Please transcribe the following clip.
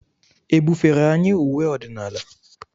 E bufere anyị uwe ọdịnala?